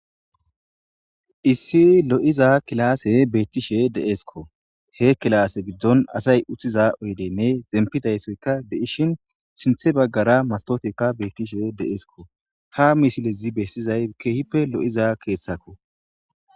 Issi lo'iza kilase beettishe de'eskko he kilaase giddon asay uththiza oydenne zempidaysoyka de'ishin sinthe baggara mastotekka beettishe deeskko ha misilezi bessizay keehippe lo'iza keessakko.